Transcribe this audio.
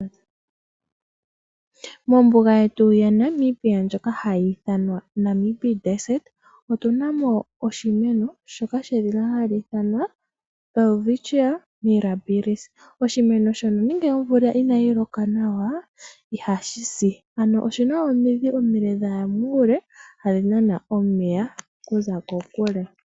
Mombuga yetu ya Namibia ndjoka hayi ithanwa Namib otunamo oshimeno shoka hashi ithana welwistchia mirabilis. Oshimeno shono nande omvula inayi loka nawa ihashisi . Oshina omidhi dhaya muule hadhi nana omeya.